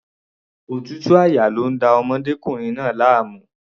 Òtútù àyà ni ó ń da ọmọdékùnrin náà láàmú.